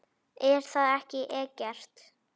Er það ekki Eggert?